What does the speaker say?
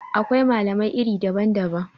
Akwai malamai iri daban-daban